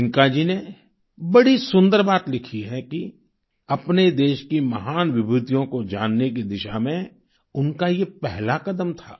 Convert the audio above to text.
प्रियंका जी ने बड़ी सुंदर बात लिखी है कि अपने देश की महान विभूतियों को जानने की दिशा में उनका ये पहला कदम था